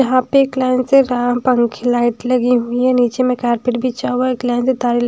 यहाँ पे एक लाइन पंखे लाइट लगी हुई हैं नीचे में कारपेट बिछा हुआ है एक लाइन से तारें--